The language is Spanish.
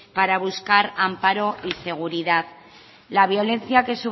para buscar amparo y seguridad la violencia que